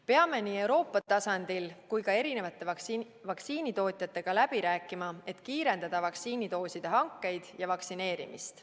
Peame nii Euroopa tasandil kui ka vaktsiinitootjatega läbi rääkima, et kiirendada vaktsiinidooside hankeid ja vaktsineerimist.